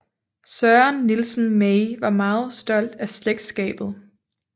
Søren Nielsen May var meget stolt af slægtskabet